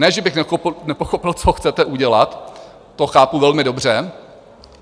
Ne že bych nepochopil, co chcete udělat, to chápu velmi dobře.